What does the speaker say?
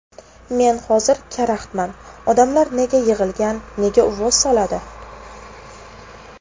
Men hozir karaxtman, odamlar nega yig‘ilgan, nega uvvos soladi?